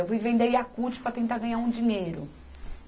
Eu fui vender Yakult para tentar ganhar um dinheiro.